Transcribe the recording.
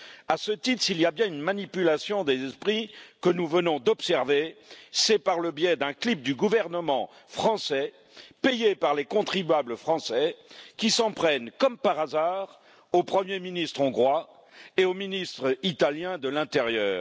À ce titre, s'il y a bien une manipulation des esprits que nous venons d'observer, c'est par le biais d'un clip du gouvernement français, payé par les contribuables français, qui s'en prend, comme par hasard, au Premier ministre hongrois et au ministre italien de l'intérieur.